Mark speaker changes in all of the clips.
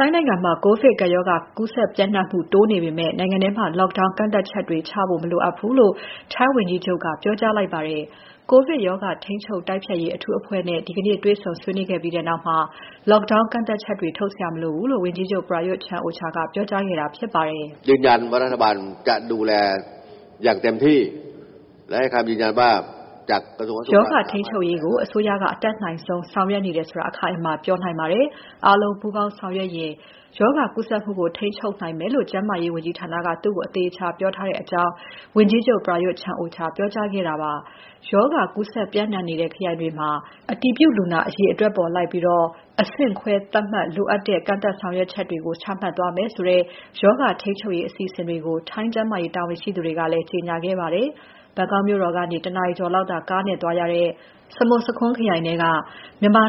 Speaker 1: ိုင်းနိုင်ငံမှာ ကိုဗစ်ကပ်ရောဂါ ကူးစက်ပျံ့နှံ့မှု တိုးနေပေမဲ့ နိုင်ငံထဲမှာ lockdown ကန့်သတ်ချက်တွေချဖို့ မလိုအပ်ဘူးလို့ ထိုင်းဝန်ကြီးချုပ်က ပြောကြားလိုက်ပါတယ်။ ကိုဗစ်ရောဂါ ထိန်းချုပ်တိုက်ဖျက်ရေး အထူးအဖွဲ့နဲ့ ဒီကနေ့ တွေ့ဆုံဆွေးနွေးခဲ့ပြီးနောက် Lockdown ကန့်သတ်ချက်တွေ ထုတ်စရာမလိုဘူးလို့ ဝန်ကြီးချုပ် Prayuth Chan-ocha က ပြောကြားခဲ့တာဖြစ်ပါတယ်။
Speaker 2: "ရောဂါ
Speaker 1: ထိန်းချုပ်ရေးကို အစိုးရက အတတ်နိုင်ဆုံး ဆောင်ရွက်နေတယ်ဆိုတာ အခိုင်အမာပြောနိုင်ပါတယ်။ အားလုံးပူးပေါင်းဆောင်ရွက်ရင် ရောဂါကူးစက်မှုကို ထိန်းချုပ်နိုင်မယ်ဆိုတာ ကျန်းမာရေးဝန်ကြီးဌာနက သူ့ကို အသေအချာပြောထားပါတယ်။" လို့ ဝန်ကြီးချုပ် Prayuth Chan-ocha ကပြောပါတယ်။ ရောဂါကူးစက်ပျံ့နှံ့နေတဲ့ ခရိုင်တွေမှာ အတည်ပြုလူနာအရေအတွက်အလိုက် အဆင့်ခွဲသတ်မှတ်ပြီး လိုအပ်တဲ့ ကန့်သတ်ဆောင်ရွက်ချက်တွေ ချမှတ်သွားမယ်ဆိုတဲ့ ရောဂါထိန်းချုပ်ရေးအစီအစဉ်တွေကို ထိုင်းကျန်းမာရေး တာဝန်ရှိသူတွေကလည်း ကြေညာခဲ့ပါတယ်။ ဘန်ကောက်မြို့တော်ကနေ ၁ နာရီကျော်လောက်သာ ကားနဲ့သွားရတဲ့ စမွတ်ဆာခွန်းခရိုင်ထဲက မြန်မာ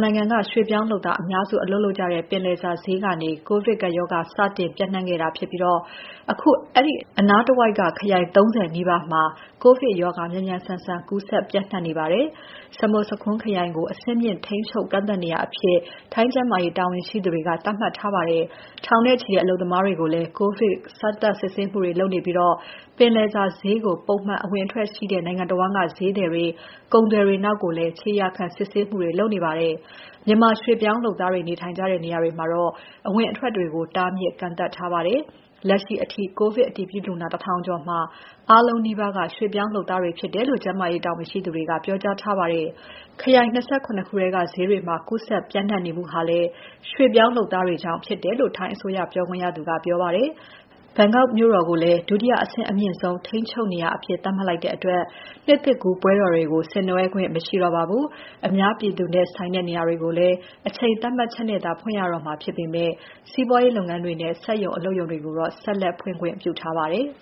Speaker 1: ရွှေ့ပြောင်းလုပ်သားအများစု အလုပ်လုပ်ကြတဲ့ ပင်လယ်စာဈေးကနေ ကိုဗစ်ကပ်ရောဂါ စတင်ပြန့်ခဲ့တာဖြစ်ပြီး အခုအနားတဝိုက်က ခရိုင် ၃၀ နီးပါးမှာ ကိုဗစ်ရောဂါ မြန်မြန်ဆန်ဆန် ကူးစက်ပျံ့နှံ့နေပါတယ်။ စမွတ်ဆာခွန်းခရိုင်ကို အဆင့်မြင့် ထိန်းချုပ်ကန့်သတ်နေရာအဖြစ် ထိုင်းကျန်းမာရေးတာဝန်ရှိသူတွေက သတ်မှတ်ထားပါတယ်။ ထောင်နဲ့ချီတဲ့ အလုပ်သမားတွေကိုလည်း ကိုဗစ် စမ်းသပ် စစ်ဆေးမှုတွေ လုပ်နေပြီး ပင်လယ်စာဈေးကို ပုံမှန်အဝင်အထွက်ရှိတဲ့ နိုင်ငံတဝန်းက ဈေးသည်တွေ ကုန်သည်တွေနောက်ကိုလည်း ခြေရာခံ ဆေးစစ်မှုတွေ လုပ်နေပါတယ်။ မြန်မာရွှေ့ပြောင်းလုပ်သားတွေ နေထိုင်ကြတဲ့ နေရာတွေမှာတော့ အဝင်အထွက်တွေကို တားမြစ်ကန့်သတ်ထားပါတယ်။ လက်ရှိအထိ ကိုဗစ်အတည်ပြုလူနာ ၁,၀၀၀ ကျော်မှာ အားလုံးနီးပါးက ရွှေ့ပြောင်းလုပ်သားတွေဖြစ်တယ်လို့ ကျန်းမာရေးတာဝန်ရှိသူတွေက ပြောကြားထားပါတယ်။ ခရိုင် ၂၇ ခုက ဈေးတွေမှာ ကူးစက်ပျံ့နှံ့နေမှုဟာလည်း ရွှေ့ပြောင်းလုပ်သားတွေကြောင့် ဖြစ်တယ်လို့ ထိုင်းအစိုးရပြောခွင့်ရသူက ပြောပါတယ်။ ဘန်ကောက်မြို့တော်ကို ဒုတိယအဆင့်အမြင့်ဆုံး ထိန်းချုပ်နေရာအဖြစ် သတ်မှတ်လိုက်တဲ့အတွက် နှစ်သစ်ကူးပွဲတော်တွေကို ဆင်နွဲှခွင့် မရှိတော့ပါဘူး။ အများပြည်သူနဲ့ဆိုင်တဲ့နေရာတွေကိုလည်း အချိန်သတ်မှတ်ချက်နဲ့သာ ဖွင့်ရတော့မှာဖြစ်ပေမဲ့ စီးပွားရေးလုပ်ငန်းတွေနဲ့ စက်ရုံအလုပ်ရုံတွေကိုတော့ ဆက်လက် ဖွင့်ခွင့်ပြုထားပါတယ်။